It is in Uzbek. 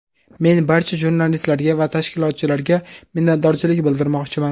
Men barcha jurnalistlarga va tashkilotchilarga minnatdorchilik bildirmoqchiman.